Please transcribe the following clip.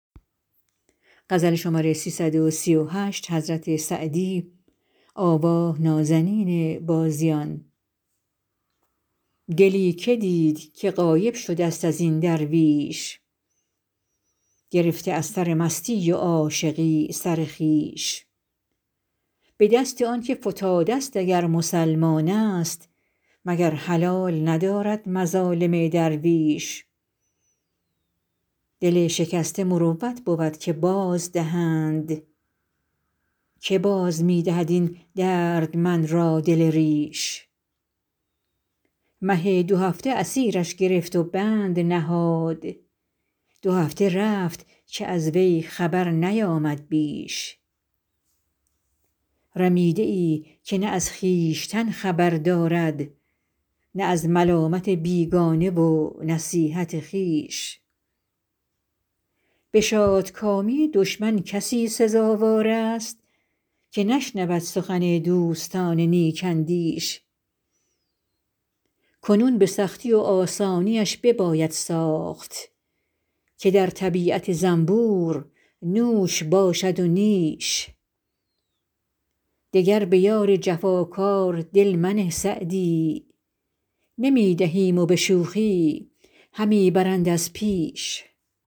دلی که دید که غایب شده ست از این درویش گرفته از سر مستی و عاشقی سر خویش به دست آن که فتاده ست اگر مسلمان است مگر حلال ندارد مظالم درویش دل شکسته مروت بود که بازدهند که باز می دهد این دردمند را دل ریش مه دوهفته اسیرش گرفت و بند نهاد دو هفته رفت که از وی خبر نیامد بیش رمیده ای که نه از خویشتن خبر دارد نه از ملامت بیگانه و نصیحت خویش به شادکامی دشمن کسی سزاوار است که نشنود سخن دوستان نیک اندیش کنون به سختی و آسانیش بباید ساخت که در طبیعت زنبور نوش باشد و نیش دگر به یار جفاکار دل منه سعدی نمی دهیم و به شوخی همی برند از پیش